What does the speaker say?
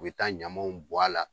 U bi taa ɲamaw bɔ a la